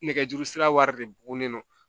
Nɛgɛjuru sira wari de bunen don